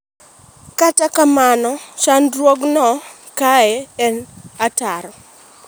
Kata kamano chandruog no kae en ataro.